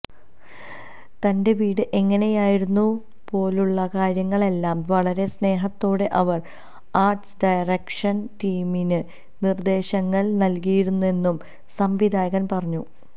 തന്റെ വീട് എങ്ങനെയായിരുന്നു പോലുള്ള കാര്യങ്ങളെല്ലാം വളരെ സ്നേഹത്തോടെ അവര് ആര്ട് ഡയറക്ഷന് ടീമിന് നിര്ദേശങ്ങള് നല്കിയിരുന്നെന്നും സംവിധായകന് പറഞ്ഞു